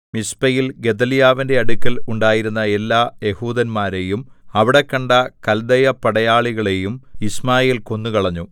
മിസ്പയിൽ ഗെദല്യാവിന്റെ അടുക്കൽ ഉണ്ടായിരുന്ന എല്ലാ യെഹൂദന്മാരെയും അവിടെക്കണ്ട കല്ദയപടയാളികളെയും യിശ്മായേൽ കൊന്നുകളഞ്ഞു